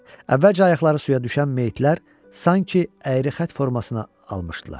Əvvəlcə ayaqları suya düşən meyitlər sanki əyrixət formasına almışdılar.